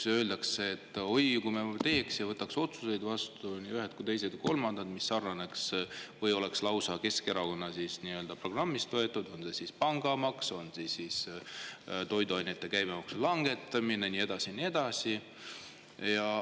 Öeldakse, et oi, kui me, siis võtaks vastu otsused – nii ühed, teised kui kolmandad –, mis sarnaneks või oleks lausa Keskerakonna programmist võetud, on see siis pangamaks või on see siis toiduainete käibemaksu langetamine ja nii edasi.